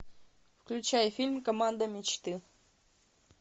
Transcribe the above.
включай фильм команда мечты